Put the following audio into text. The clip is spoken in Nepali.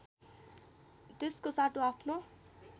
त्यसको साटो आफ्नो